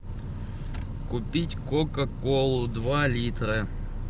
купить кока колу два литра